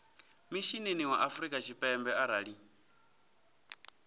mishinini wa afrika tshipembe arali